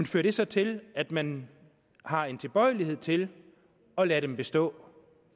fører det så til at man har en tilbøjelighed til at lade dem bestå